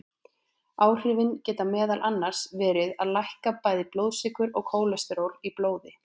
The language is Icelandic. Áhrifin geta meðal annars verið að lækka bæði blóðsykur og kólesteról í blóði.